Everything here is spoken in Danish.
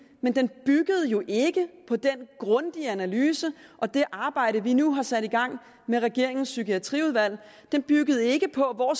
men den byggede jo ikke på den grundige analyse og det arbejde vi nu har sat i gang med regeringens psykiatriudvalg den byggede ikke på hvor